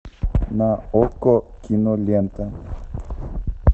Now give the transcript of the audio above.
на окко кинолента